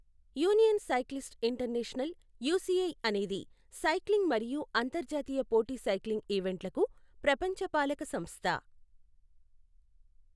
Union Cyclist International, UCI అనేది cycling మరియు అంతర్జాతీయ పోటీ సైక్లింగ్ ఈవెంట్లకు ప్రపంచ పాలక సంస్థ.